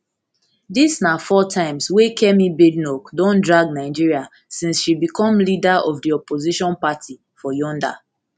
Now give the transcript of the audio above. dis na four times wey kemi badenoch don drag nigeria since she become leader of di opposition party for yonda